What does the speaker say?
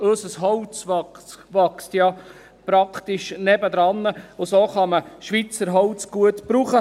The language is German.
Unser Holz wächst ja praktisch nebenan, und so kann man Schweizer Holz gut brauchen.